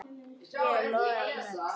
er loðið af mjöll.